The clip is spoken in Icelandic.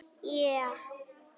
Hrein eign lífeyrissjóða eykst